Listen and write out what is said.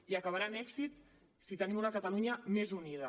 i acabarà amb èxit si tenim una catalunya més unida